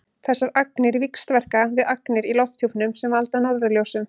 þessar agnir víxlverka við agnir í lofthjúpnum sem valda norðurljósum